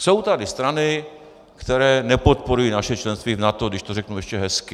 Jsou tady strany, které nepodporují naše členství v NATO, když to řeknu ještě hezky.